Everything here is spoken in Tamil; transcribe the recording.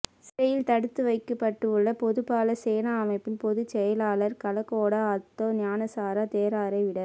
சிறையில் தடுத்து வைக்கப்பட்டுள்ள பொதுபல சேனா அமைப்பின் பொதுச் செயலாளர் கலகொட அத்தே ஞானசார தேரரரை விட